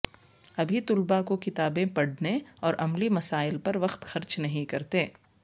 ابھی طلباء کو کتابیں پڑھنے اور عملی مسائل پر وقت خرچ نہیں کرتے